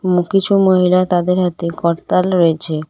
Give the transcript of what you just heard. এবং কিছু মহিলা তাদের হাতে করতাল রয়েছে।